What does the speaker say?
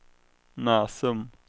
Näsum